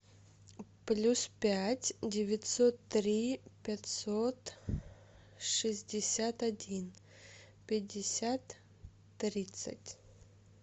плюс пять девятьсот три пятьсот шестьдесят один пятьдесят тридцать